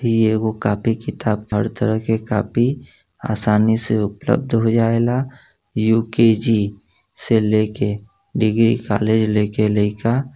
इ एगो कॉपी किताब हर तरह के कॉपी आसानी से उपलब्ध हो जावेला। यू.के.जी. से लेके डिग्री कॉलेज लेके लेईका --